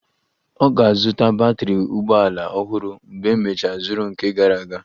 Ọ ga-azụta batrị ụgbọ ala ọhụrụ mgbe emecha zuru nke gara aga